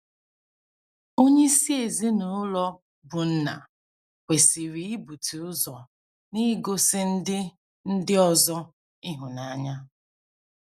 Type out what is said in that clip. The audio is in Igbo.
Onyeisi ezinụlọ, bụ́ nna, kwesịrị ibute ụzọ n’igosi ndị ndị ọzọ ịhụnanya.